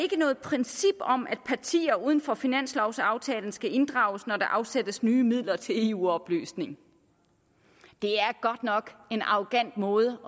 noget princip om at partier uden for finanslovaftalen skal inddrages når der afsættes nye midler til eu oplysning det er godt nok en arrogant måde